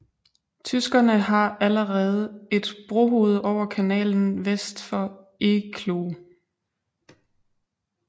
Tyskerne har allerede et brohoved over kanalen vest for Eecloo